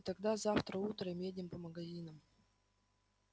и тогда завтра утром едем по магазинам